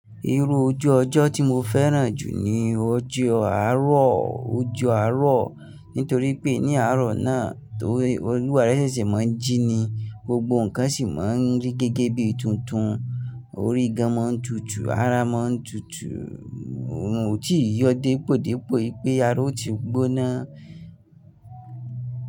Irú ojú ọjọ́ tí mo fẹ́ràn jù ni ojú àárọ̀ ojú àárọ̀, nítorí pé ní àárọ̀ náà torí, olúwa re ṣẹ̀ṣẹ̀ máa ń jíni, gbogbo nnkan sì máa ń rí gẹ́gẹ́ bí i tuntun, orí gan máa ń tutù, ara máa ń tutù, òorun ò tíi yọ dépò dépò wípé ara ó ti gbóná.